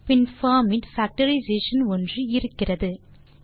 பின் form இன் factorization ஒன்று இருக்கிறது